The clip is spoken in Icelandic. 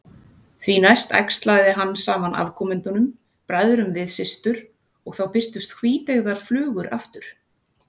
Því næst æxlaði hann saman afkomendunum, bræðrum við systur, og þá birtust hvíteygðar flugur aftur.